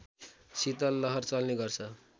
शीतलहर चल्ने गर्छ